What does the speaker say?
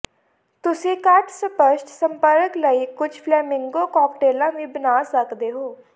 ਤੁਸੀਂ ਘੱਟ ਸਪੱਸ਼ਟ ਸੰਪਰਕ ਲਈ ਕੁਝ ਫਲੇਮਿੰਗੋ ਕਾਕਟੇਲਾਂ ਵੀ ਬਣਾ ਸਕਦੇ ਹੋ